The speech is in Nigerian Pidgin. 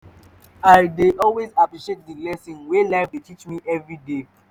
i dey always appreciate di lessons wey life dey teach me evriday